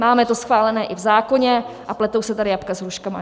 Máme to schválené i v zákoně a pletou se tady jablka s hruškami.